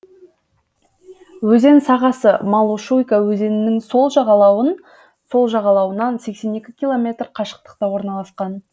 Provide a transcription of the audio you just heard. өзен сағасы малошуйка өзенінің сол жағалауынан сексен екі километр қашықтықта орналасқан